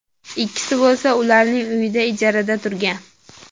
Ikkinchisi bo‘lsa ularning uyida ijarada turgan.